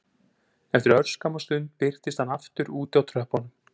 Eftir örskamma stund birtist hann aftur úti á tröppunum